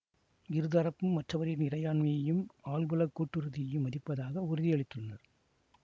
இரு தரப்பும் மற்றவரின் இறையாண்மையையும் ஆள்புலக் கட்டுறுதியையும் மதிப்பதாக உறுதியளித்துள்ளனர்